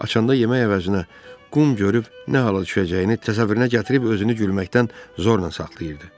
Açanda yemək əvəzinə qum görüb nə hala düşəcəyini təsəvvürünə gətirib özünü gülməkdən zorla saxlayırdı.